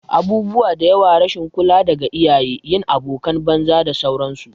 Abubuwa diyawa, rashin kula daga iyaye, yin abokanan banza da sauran su